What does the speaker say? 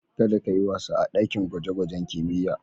Kada ka yi wasa a ɗakin gwajen-gwajen kimiyya.